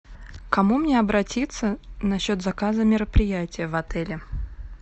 к кому мне обратиться насчет заказа мероприятия в отеле